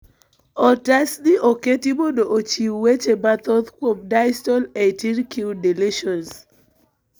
Otas ni oketi mondo ochiw weche mathoth kuom distal 18q deletions.